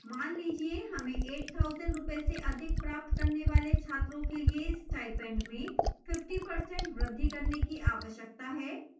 मान लीजिए हमें 8000 रूपये से अधिक प्राप्त करने वाले छात्रों के लिए स्टाइपेंड में 50% वृद्धि करने की आवश्यकता है